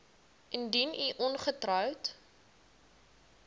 indien u ongetroud